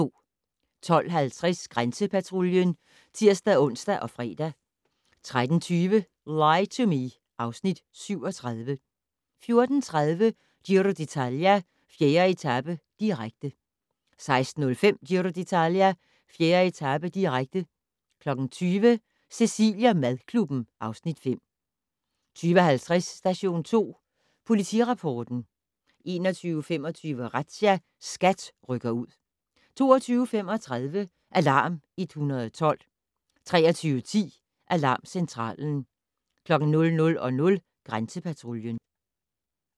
12:50: Grænsepatruljen (tir-ons og fre) 13:20: Lie to Me (Afs. 37) 14:30: Giro d'Italia: 4. etape, direkte 16:05: Giro d'Italia: 4. etape, direkte 20:00: Cecilie & madklubben (Afs. 5) 20:50: Station 2 Politirapporten 21:25: Razzia - SKAT rykker ud 22:35: Alarm 112 23:10: Alarmcentralen 00:00: Grænsepatruljen